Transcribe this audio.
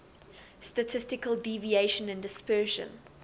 statistical deviation and dispersion